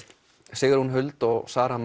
Sigrún Huld og Sara